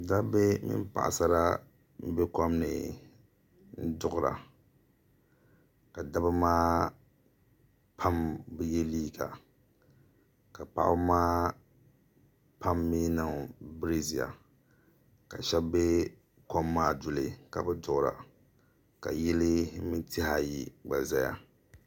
ŋɔlooŋɔ nyɛla paɣiba ata m-be kpe na ŋɔ ka taha mini firaayin- painnima zaya ka yino zaŋ toli mini tiliɡa ka piiri bindiriɡu niŋdi di puuni ni o to hali nɔhi ɡba kuli za n-zami no' chichɛra no' ʒee no' sabinli ni bɔraadenima ka di kuli puhi vari za bɛ nyaaŋa